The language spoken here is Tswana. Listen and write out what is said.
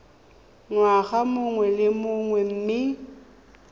ngwaga mongwe le mongwe mme